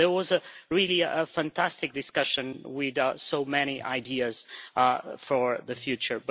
So there was a really fantastic discussion with so many ideas for the future.